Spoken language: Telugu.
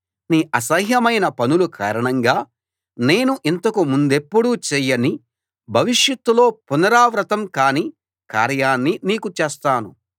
నీ అసహ్యమైన పనుల కారణంగా నేను ఇంతకు ముందెప్పుడూ చేయని భవిష్యత్తులో పునరావృతం కాని కార్యాన్ని నీకు చేస్తాను